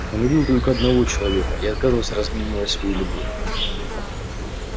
он любил только одного человека и отказывался разменивать свою любовь